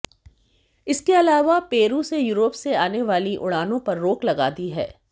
इसके अलावा पेरू से यूरोप से आने वाली उड़ानों पर रोक लगा दी है